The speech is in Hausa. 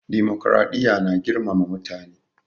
Dimokuraɗiya na girmama mutane